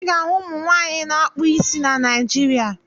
Ị ga-ahụ ụmụ nwaanyị na-akpụ isi na Naịjirịa.